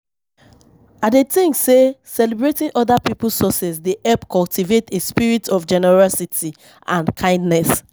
I dey think say celebrating other people's successes dey help cultivate a spirit of generosity and kindness.